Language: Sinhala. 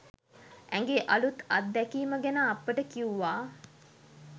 ඇගේ අලුත් අත්දැකීම ගැන අපට කිව්වා.